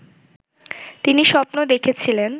তিনি স্বপ্ন দেখেছিলেন